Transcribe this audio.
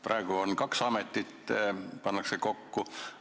Praegu on kaks ametit, need pannakse kokku.